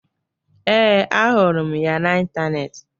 Ee, ahụrụ m ya n'ịntanetị